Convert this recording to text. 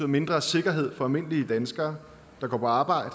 mindre sikkerhed for almindelige danskere der går på arbejde